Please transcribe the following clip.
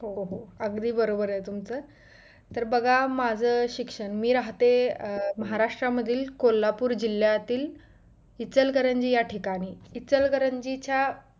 हो हो अगदी बरोबर आहे तुमचं तर बघा माझं शिक्षण मी राहते अं महाराष्ट्रा मधील कोल्हापूर जिल्ह्यातील इचलकरंजी या ठिकाणी इचलकरंजीच्या